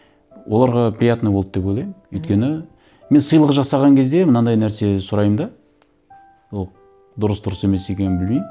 оларға приятно болды деп ойлаймын өйткені мен сыйлық жасаған кезде мынандай нәрсе сұраймын да ол дұрыс дұрыс емес екенін білмеймін